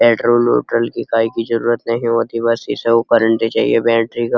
Petrol ओट्रोल की काएकी जरुरत नही होती। बस इसे चाहिए बैटरी का।